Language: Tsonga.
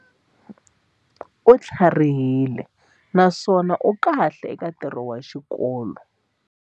U tlharihile naswona u kahle eka ntirho wa xikolo.